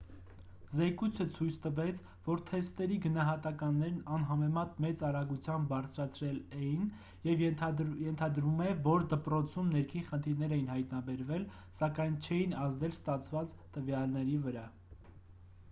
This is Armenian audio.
զեկույցը ցույց տվեց որ թեստերի գնահատականներն անհամեմատ մեծ արագությամբ բարձրացել էին և ենթադրվում է որ դպրոցում ներքին խնդիրներ էին հայտնաբերվել սակայն չէին ազդել ստացված տվյալների վրա